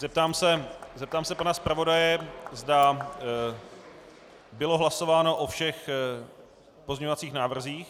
Zeptám se pana zpravodaje, zda bylo hlasováno o všech pozměňovacích návrzích.